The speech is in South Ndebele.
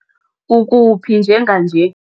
Ukuphi njenganje?